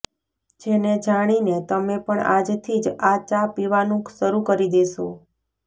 જેને જાણીને તમે પણ આજથી જ આ ચા પીવાનું શરૂ કરી દેશો